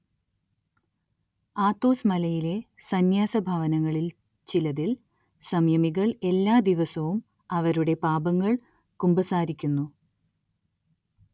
Athos മലയിലെ സംന്യാസഭവനങ്ങളിൽ ചിലതിൽ, സംയമികൾ എല്ലാദിവസവും അവരുടെ പാപങ്ങൾ കുമ്പസാരിക്കുന്നു.